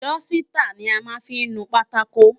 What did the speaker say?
Dọ́sítà ni a máa fí ń nu pátákò.